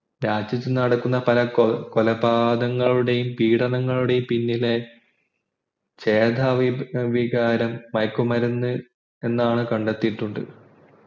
രാജ്യത്തു നടക്കുന്ന പല പലകൊലപാതങ്ങളുടെയും പീഡനങ്ങളുടെയും പിന്നില ചേതാ ചേതോവികാരം മയക്കുമരുന്ന് എന്നാണ് കണ്ടത്തിയിട്ടുണ്ട്